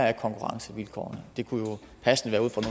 af konkurrencevilkårene det kunne jo passende være ud fra